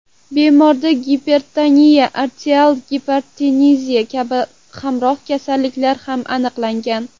Bemorda gipertoniya, arterial gipertenziya kabi hamroh kasalliklar ham aniqlangan.